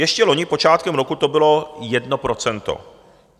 Ještě loni počátkem roku to bylo jedno procento.